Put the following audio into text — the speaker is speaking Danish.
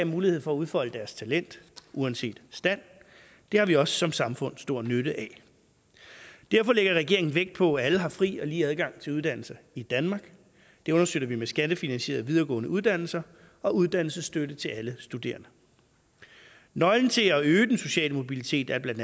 mulighed for at udfolde deres talent uanset stand det har vi også som samfund stor nytte af derfor lægger regeringen vægt på at alle har fri og lige adgang til uddannelse i danmark det understøtter vi med skattefinansierede videregående uddannelser og uddannelsesstøtte til alle studerende nøglen til at øge den sociale mobilitet er bla